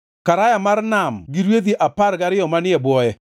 Karaya mar Nam gi rwedhi apar gariyo manie e bwoye;